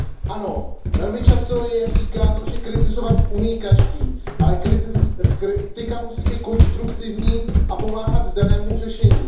Ano, velmi často je říkáno, že kritizovat umí každý, ale kritika musí být konstruktivní a pomáhat danému řešení.